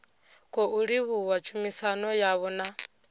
khou livhuwa tshumisano yavho na